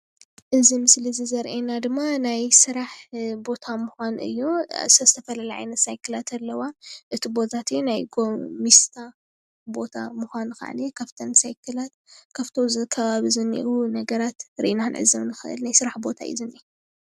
ናይ ሳይክል መፀገኒ ቦታ የመላኽት።